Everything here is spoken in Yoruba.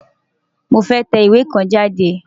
Mo fẹ́ tẹ ìwé kan jáde.